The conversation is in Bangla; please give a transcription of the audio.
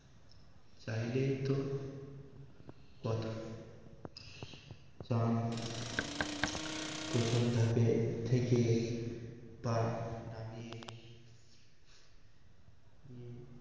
চাইলেই তো কথা চান প্রথম ধাপে থেকে পা নামিয়ে